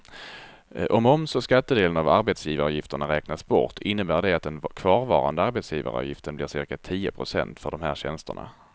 Om moms och skattedelen av arbetsgivarargifterna räknas bort innebär det att den kvarvarande arbetsgivaravgiften blir cirka tio procent för de här tjänsterna.